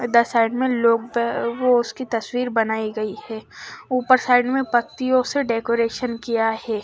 इधर साइड में लोग वो उसकी तस्वीर बनाई गई है उपर साइड में पत्तियों से डेकोरेशन किया है।